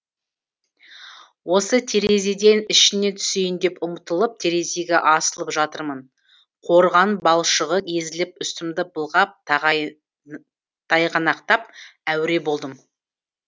осы терезеден ішіне түсейін деп ұмтылып терезеге асылып жатырмын қорған балшығы езіліп үстімді былғап тайғанақтап әуре болдым